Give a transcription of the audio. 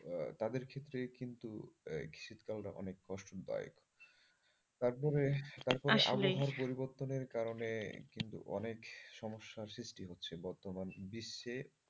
তাদের ক্ষেত্রে কিন্তু শীতকালটা অনেক কষ্ট দায়ক। তারপরে তারপরে আসলেই আবহাওয়া পরিবর্তন এর কারণে কিন্তু অনেক সমস্যা সৃষ্টি হচ্ছে বর্তমানে বিশ্বে।